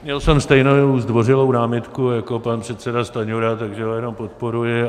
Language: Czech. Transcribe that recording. Měl jsem stejnou zdvořilou námitku jako pan předseda Stanjura, takže ho jenom podporuji.